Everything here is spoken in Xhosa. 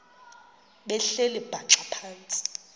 behleli bhaxa phantsi